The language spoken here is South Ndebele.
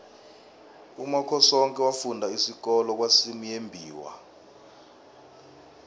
umakhosoke wafunda isikolo kwasimuyembiwa